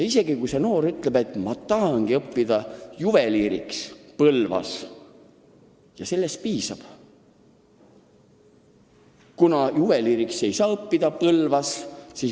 Ja kui ta näiteks ütleb, et ma tahan Põlvas juveliiriks õppida, aga kui Põlvas ei saa juveliiriks õppida, siis sellest piisab.